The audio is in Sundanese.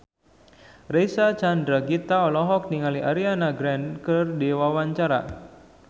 Reysa Chandragitta olohok ningali Ariana Grande keur diwawancara